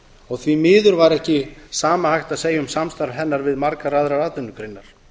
og því miður var ekki sama hægt að segja um samstarf hennar við margar aðrar atvinnugreinar